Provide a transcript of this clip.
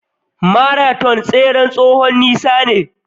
Maraton tseren tsowon nisa ne.